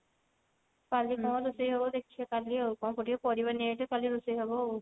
କାଲି କଣ ରୋଷେଇ ହବ ଦେଖିବା କାଲି ଆଉ କଣ ଟିକେ ପାରିବା ନେଇଆସିବା କାଲି ରୋଷେଇ ହବ ଆଉ